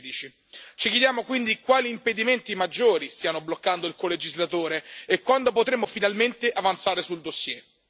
2016. Ci chiediamo quindi quali impedimenti maggiori stiano bloccando il colegislatore e quando potremo finalmente avanzare sul dossier.